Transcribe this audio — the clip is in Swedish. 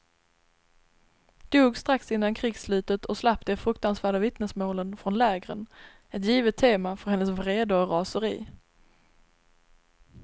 Dog strax innan krigsslutet och slapp de fruktansvärda vittnesmålen från lägren, ett givet tema för hennes vrede och raseri.